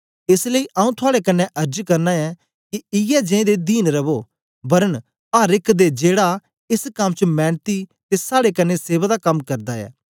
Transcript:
एस लेई आऊँ थुआड़े कन्ने अर्ज करना ऐं के इयै जें दे दीन रवो वरन अर एक दे जेड़ा एस कम च मैनती ते साड़े कन्ने सेवा दा कम करदा ऐ